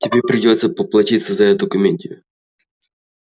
тебе придётся поплатиться за эту комедию